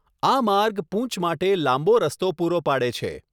આ માર્ગ પૂંચ માટે લાંબો રસ્તો પૂરો પાડે છે.